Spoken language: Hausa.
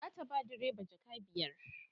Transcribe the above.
zata ba direba jaka biyar